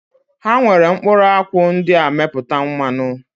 Ha nwere mkpụrụakwụ ndị a mepụta mmanụ